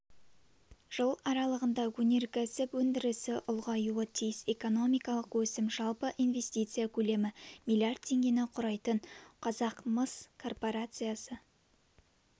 жыл аралығында өнеркәсіп өндірісі ұлғаюы тиіс экономикалық өсім жалпы инвестиция көлемі миллиард теңгені құрайтын қазақмыс корпорациясы